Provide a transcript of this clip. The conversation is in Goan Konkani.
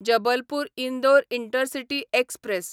Jabalpur Indore intercity express